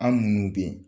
An minnu bɛ yen